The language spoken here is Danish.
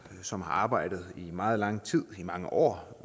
som har arbejdet i meget lang tid i mange år